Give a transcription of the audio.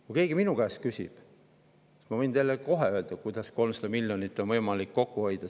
Kui keegi minu käest küsib, siis ma võin kohe öelda, kuidas 300 miljonit on võimalik kokku hoida.